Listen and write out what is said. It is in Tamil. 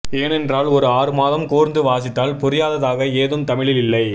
ஏனென்றால் ஒரு ஆறுமாதம் கூர்ந்து வாசித்தால் புரியாததாக ஏதும் தமிழில் இல்லை